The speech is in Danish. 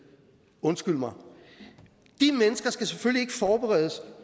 undskyld mig de mennesker skal selvfølgelig forberedes